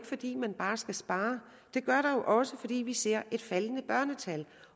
fordi man skal spare det gør der jo også fordi vi ser et faldende børnetal